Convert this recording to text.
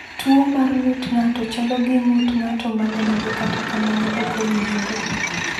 Tuwo mar ng’ut ng’ato chalo gi ng’ut ng’ato ma nenore kata kamano ok owinjore.